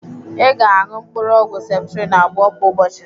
Ị ga-anụ mkpụrụ ọgwụ septrin abụọ kwa ụbọchị.